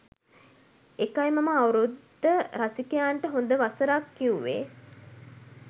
එකයි මමඅවුරුද්ද රසිකයන්ට හොද වසරක් කිව්වේ